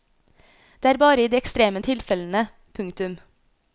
Det er bare i de ekstreme tilfellene. punktum